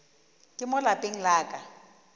ka mo lapeng la ka